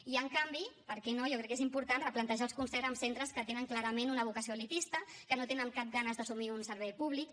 i en canvi per què no jo crec que és important replantejar el concert amb centres que tenen clarament una vocació elitista que no tenen cap ganes d’assumir un servei públic